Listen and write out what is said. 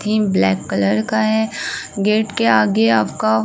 Theme black colour का है। Gate के आगे आपका --